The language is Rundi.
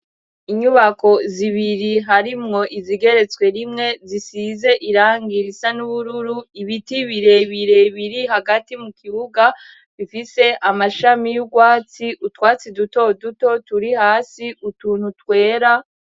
Inyubako zibiri harimwo izigeretswe rimwe zisize irangi risa n'ubururu, ibiti birebire biri hagati mu kibuga, bifise amashami y'urwatsi, utwatsi duto duto turi hasi utuntu twera...